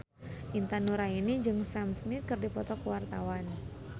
Intan Nuraini jeung Sam Smith keur dipoto ku wartawan